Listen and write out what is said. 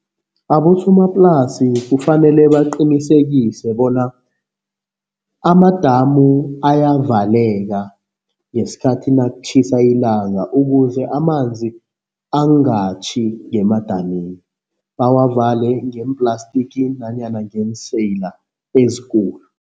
Abosomaplasi kufanele baqinisekise bona amadamu ayavaleka ngesikhathi nakutjhisa ilanga ukuze amanzi angatjhi ngemadamini, bawavale ngeemplastiki nanyana ngeenseyila ezikulu.